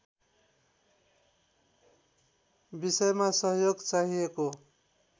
विषयमा सहयोग चाहिएको